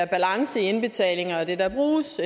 balance i indbetalinger og det der bruges